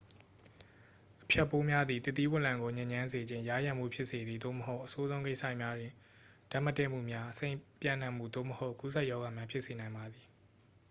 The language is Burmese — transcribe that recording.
အဖျက်ပိုးများသည် သစ်သီး0လံကို ညစ်ညမ်းစေခြင်း ယားယံမှု ဖြစ်စေသည် သို့မဟုတ် အဆိုးဆုံး ကိစ္စရပ်များတွင် ဓာတ်မတည့်မှုများ အဆိပ်ပျံ့နှံ့မှု သို့မဟုတ် ကူးစက်ရောဂါများ ဖြစ်စေနိုင်ပါသည်